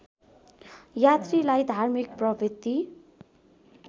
यात्रीलाई धार्मिक प्रवृत्ति